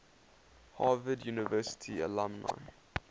harvard university alumni